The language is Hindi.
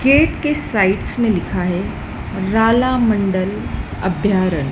गेट के साइड्स में लिखा है रालामंडल अभ्यारण।